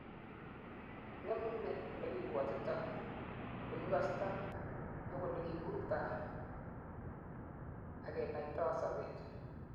ngemei olekibwotitoi, ole kikostoi ak ole kiburtoi agenoitoi sobet